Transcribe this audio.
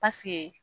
Paseke